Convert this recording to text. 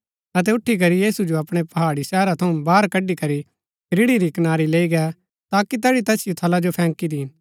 अतै उठी करी यीशु जो अपणै पहाड़ी शहरा थऊँ बाहर कडी करी रिड़ी री कनारी लैई गै ताकि तैठी थऊँ तैसिओ थला जो फैंकी दीन